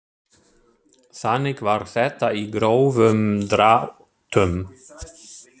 Þannig var þetta í grófum dráttum.